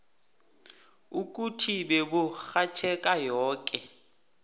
ukuthi beburhatjheka yoke